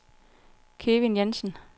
Kevin Jansen